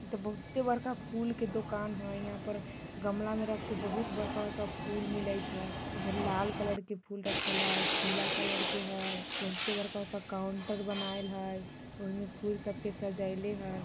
इ त बहुत्ते बड़का फुल के दोकान है यहाँ पर गमला में रख के बहुत बरका-बरका फूल मिले छै इधर लाल कलर के फूल रखल है पीला कलर के हय बहुत्ते बड़का-बड़का काउंटर बनाएल हय और उहेमे फूल सबके सजेयले हय।